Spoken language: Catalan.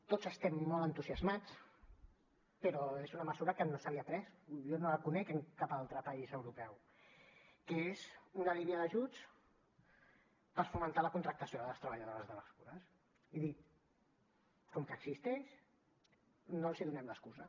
tots estem molt entusiasmats però és una mesura que no s’havia pres jo no la conec en cap altre país europeu que és una línia d’ajuts per fomentar la contractació de les treballadores de les cures i dir com que existeix no els hi donem l’excusa